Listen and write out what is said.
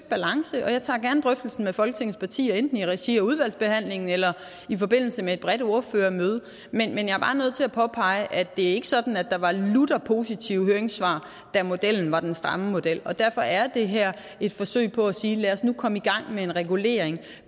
balance og jeg tager gerne drøftelsen med folketingets partier enten i regi af udvalgsbehandlingen eller i forbindelse med et bredt ordførermøde men jeg er bare nødt til at påpege at det ikke er sådan at der var lutter positive høringssvar da modellen var den samme model derfor er det her et forsøg på at sige lad os nu komme i gang med en regulering